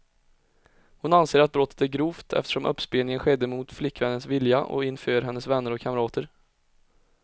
Hon anser att brottet är grovt, eftersom uppspelningen skedde mot flickvännens vilja och inför hennes vänner och kamrater.